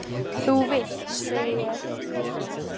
Þú vilt, segi ég.